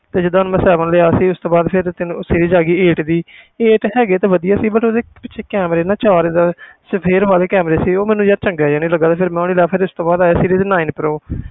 ਤੇ ਜਿੱਦਾਂ ਹੁਣ ਮੈਂ seven ਲਿਆ ਸੀ ਉਸ ਤੋਂ ਬਾਅਦ ਫਿਰ ਤੈਨੂੰ series ਆ ਗਈ eight ਦੀ eight ਹੈਗੀ ਤੇ ਵਧੀਆ ਸੀ but ਉਹਦੇ ਪਿੱਛੇ camera ਨਾ ਚਾਰ ਏਦਾਂ ਸਫ਼ੇਦ ਵਾਲੇ camera ਸੀ ਉਹ ਮੈਨੂੰ ਯਾਰ ਚੰਗੇ ਜਿਹਾ ਨੀ ਲੱਗਾ ਤੇ ਫਿਰ ਨੀ ਲਿਆ, ਫਿਰ ਇਸ ਤੋਂ ਬਾਅਦ ਆਇਆ series nine pro